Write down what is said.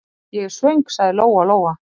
Ég er svöng, sagði Lóa-Lóa.